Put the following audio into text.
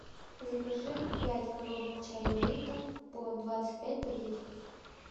закажи пять коробок чая липтон по двадцать пять пакетиков